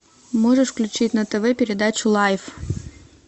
можешь включить на тв передачу лайф